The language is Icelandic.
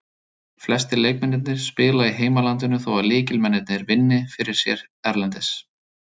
Flestir leikmennirnir spila í heimalandinu þó að lykilmennirnir vinni fyrir sér erlendis.